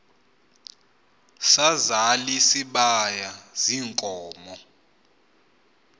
sazal isibaya ziinkomo